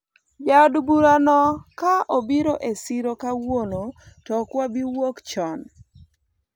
jaod bura no ka obiro e siro kawuono to ok wabi wuok chon